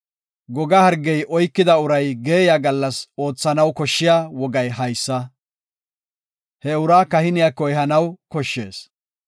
Goga hargey oykida uray geeyiya gallas oothanaw koshshiya wogay haysa. He uraa kahiniyako ehanaw koshshees.